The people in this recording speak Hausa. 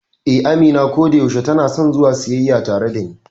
Eh, Amina kodayaushe tanason zuwa siyayya tare dani.